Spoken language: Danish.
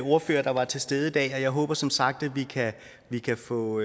ordførere der var til stede i dag og jeg håber som sagt at vi kan få